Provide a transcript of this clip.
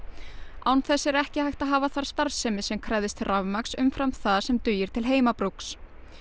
án þess er ekki hægt að hafa þar starfsemi sem krefðist rafmagns umfram það sem dugir til heimabrúks